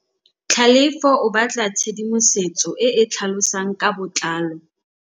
Tlhalefô o batla tshedimosetsô e e tlhalosang ka botlalô.